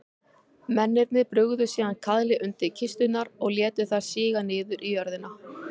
Mennirnir brugðu síðan kaðli undir kisturnar og létu þær síga niður í jörðina.